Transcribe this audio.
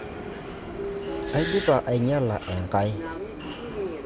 Aidipa ainyala Enkai.